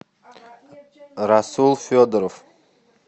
расул федоров